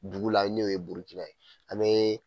Dugu la n'o ye Burukina ye an bɛ.